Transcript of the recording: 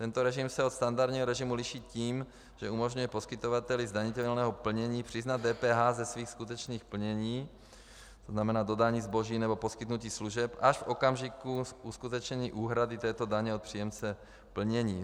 Tento režim se od standardního režimu liší tím, že umožňuje poskytovateli zdanitelného plnění přiznat DPH ze svých skutečných plnění, to znamená dodání zboží nebo poskytnutí služeb až v okamžiku uskutečnění úhrady této daně od příjemce plnění.